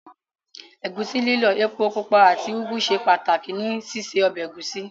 Ẹ̀gúsí lílọ̀, epo pupa àti úgú ṣe pàtàkì ní síse ọbẹ̀ ẹ̀gúsí.